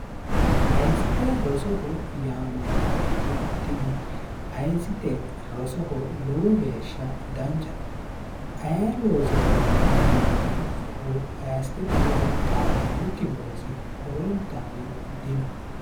ayisite rosoho yaamaantannot tini ayisite rosoho lowo geeshsha danchate ayir loosootino yinoonnihayistete ledo xaadannokki loosi horoontanni dino